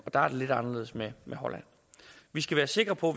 er lidt anderledes med holland vi skal være sikre på